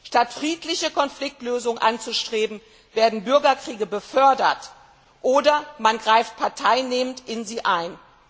Statt friedliche Konfliktlösungen anzustreben, werden Bürgerkriege gefördert oder man greift parteinehmend in sie ein.